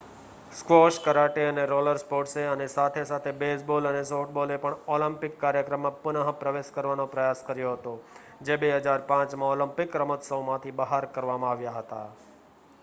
squash karate અને roller સ્પોર્ટ્સે અનેસાથે-સાથે બેઝબોલ અને સોફ્ટબોલે પણ ઓલિમ્પિક કાર્યક્રમમાં પુનઃપ્રવેશ કરવાનો પ્રયાસ કર્યો હતો જે 2005માં ઓલિમ્પિકરમતોત્સવમાંથી બહાર કરવામાં આવ્યા હતા